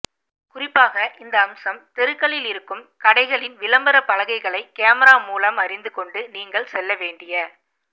குறிப்பாக இந்த அம்சம் தெருக்களில் இருக்கும் கடைகளின் விளம்பர பலகைகளை கேமரா மூலம் அறிந்து கொண்டு நீங்கள் செல்ல வேண்டிய